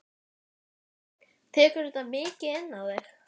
Ég reyni ætíð að sjá það jákvæða við mannlífið.